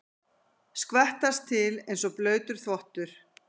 Skvettast til einsog blautur þvottur.